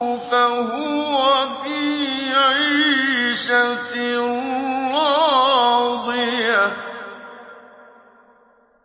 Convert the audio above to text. فَهُوَ فِي عِيشَةٍ رَّاضِيَةٍ